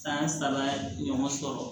San saba ɲɔgɔn sɔrɔ